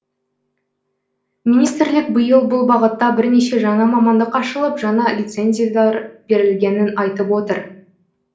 министрлік биыл бұл бағытта бірнеше жаңа мамандық ашылып жаңа лицензиялар берілгенін айтып отыр